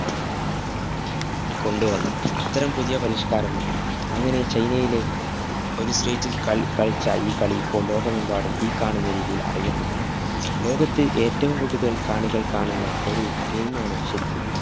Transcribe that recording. കൊണ്ടുവന്നു അത്തരം പുതിയ പരിഷ്കാരം എത്തി അങ്ങിനെ ചൈനയിലെ ഒരു street ല്‍ കളി കളിച്ച ഈ കളി ഇപ്പോള്‍ ലോകമെമ്പാടും ഈ കാണുന്ന രീതിയില്‍ അറിയപ്പെട്ടു. ലോകത്ത് ഏറ്റവും കൂടുതല്‍ കാണികള്‍ കാണുന്ന ഒരു game മാണ് ശരിക്കും.